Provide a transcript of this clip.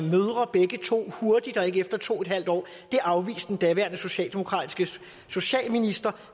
begge to hurtigt og ikke efter to en halv år det afviste den daværende socialdemokratiske socialminister